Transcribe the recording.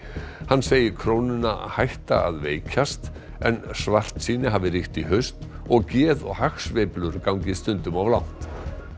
hann segir krónuna hætta að veikjast en svartsýni hafi ríkt í haust og geð og hagsveiflur gangi stundum of langt